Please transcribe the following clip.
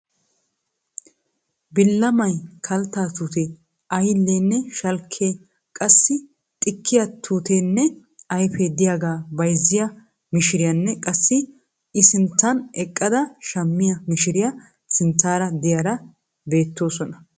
Billamay, kaltta tuutee, aylliyanne shalkkiya qassikka xikkiya tuuteenne ayfee diyagaa bayzziya mishiriyanne qassikka I sinttan eqqada shammiya mishiriya sinttaara diyara beettoosona.